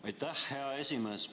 Aitäh, hea esimees!